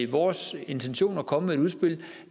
vores intention at komme med et udspil